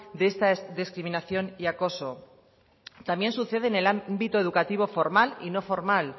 de esta discriminación y acoso también sucede en el ámbito educativo formal y no formal